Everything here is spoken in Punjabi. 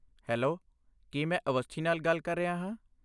ਹੈਲੋ, ਕੀ ਮੈਂ ਅਵਸਥੀ ਨਾਲ ਗੱਲ ਕਰ ਰਿਹਾ ਹਾਂ?